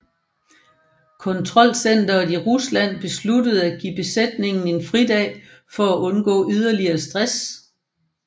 Kontrolcenteret i Rusland besluttede at give besætningen en fridag for at undgå yderligere stress